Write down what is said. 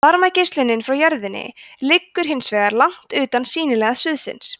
varmageislunin frá jörðinni liggur hins vegar langt utan sýnilega sviðsins